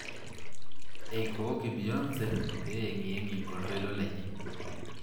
Eikooki Beyonce peyengiyengie oltoilo lenye.